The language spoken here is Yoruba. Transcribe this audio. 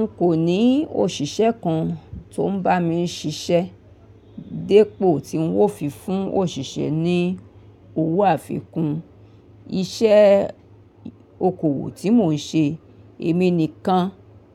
N kò ní òṣìṣẹ́ kan tó ń bá mi ṣiṣẹ́. Dípò tí ń wó fi fún òṣìṣẹ́ ni owó àfikún, iṣẹ́ okòwò tí mò ń ṣe èmi nìkan